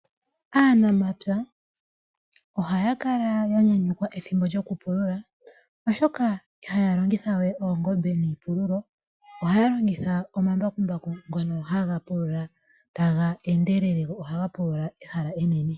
Aanamapya ohaya kala ya nyanyukwa ethimbo lyokupulula oshoka ihaya longitha we oongombe niipululo, ohaya longitha omambakumbaku ngono haga pulula taga endelele go ohaga pulula ehala enene.